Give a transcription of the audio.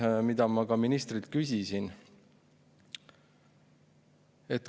Selle kohta ma ka ministrilt küsisin.